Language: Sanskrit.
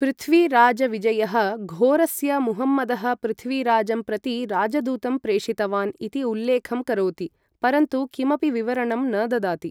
पृथ्वीराजविजयः घोरस्य मुहम्मदः पृथ्वीराजं प्रति राजदूतं प्रेषितवान् इति उल्लेखं करोति, परन्तु किमपि विवरणं न ददाति।